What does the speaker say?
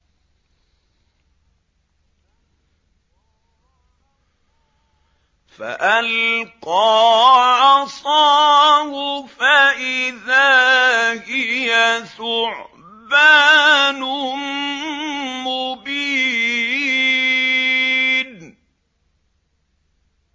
فَأَلْقَىٰ عَصَاهُ فَإِذَا هِيَ ثُعْبَانٌ مُّبِينٌ